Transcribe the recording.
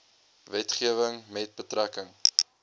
wetgewing met betrekking